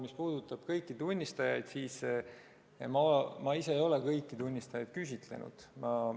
Mis puudutab kõiki tunnistajaid, siis ma ise ei ole kõiki tunnistajaid küsitlenud.